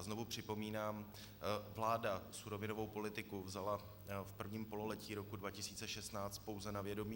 A znovu připomínám, vláda surovinovou politiku vzala v prvním pololetí roku 2016 pouze na vědomí.